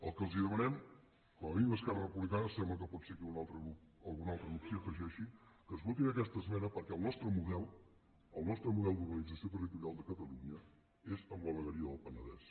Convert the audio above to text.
el que els demanem com a mínim a esquerra republicana sembla que potser que algun altre grup s’hi afegeixi que ens votin aquesta esmena perquè el nostre model el nostre model d’organització territorial de catalunya és amb la vegueria del penedès